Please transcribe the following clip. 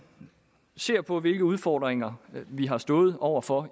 ser på hvilke udfordringer vi har stået over for